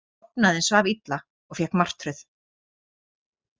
Ég sofnaði en svaf illa og fékk martröð.